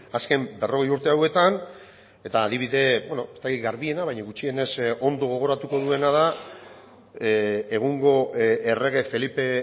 azken berrogei urte hauetan eta adibide ez dakit garbiena baina gutxienez ondo gogoratuko duena da egungo errege felipe